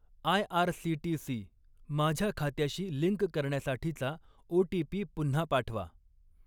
IRCTC माझ्या खात्याशी link करण्यासाठीचा ओ.टी.पी. पुन्हा पाठवा.